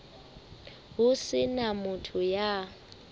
ho se na motho ya